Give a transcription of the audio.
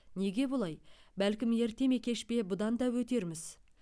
неге бұлай бәлкім ерте ме кеш пе бұдан да өтерміз